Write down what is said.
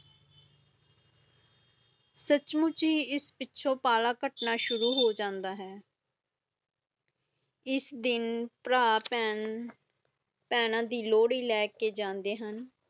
ਸੱਚੀਮੁੱਚੀ ਇਸ ਪਿੱਛੋਂ ਪਾਲਾ ਕੱਟਣਾ ਸ਼ੁਰੂ ਹੋ ਜਾਂਦਾ ਹੈ ਇਸ ਦਿਨ ਪਰ ਪਹਿਨ ਪਹਿਨਾ ਦੀ ਲੋਹੜੀ ਲੈਕੇ ਜਾਂਦੇ ਹੁਣ